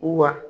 Wa